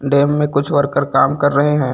Dam में कुछ worker कम कर रहे हैं।